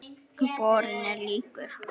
Borinn er líkur